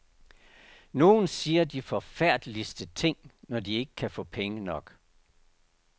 Nogle siger de forfærdeligste ting, når de ikke kan få penge nok.